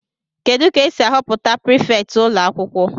Kedu ka esi ahọpụta prifétị ụlọ akwụkwọ